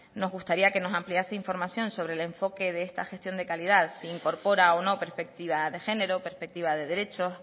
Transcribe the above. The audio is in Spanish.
nos gustaría que nos ampliase información sobre el enfoque de esta gestión de calidad si incorpora o no perspectiva de género perspectiva de derechos